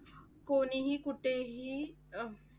कोणीही कुठेही अह